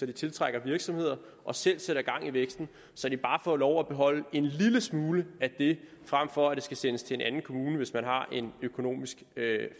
de tiltrækker virksomheder og selv sætter gang i væksten så de bare får lov at beholde en lille smule af det frem for at det skal sendes til en anden kommune hvis man har en økonomisk